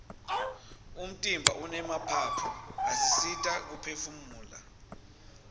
umtimba unemaphaphu asisita kuphefumula